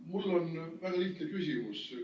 Mul on väga lihtne küsimus.